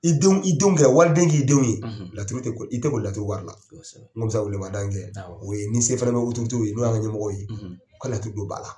i denw kɛ walidenw k'i denw ye i tɛ kƆli laturu wari la n kƆni bƐ se welewelemada min kƐ o ye ni se fana bɛ an n'o y'an ka ɲɛmɔgɔw ye u ka laturu don ba la